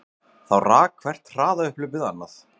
Þá rak hvert hraðaupphlaupið annað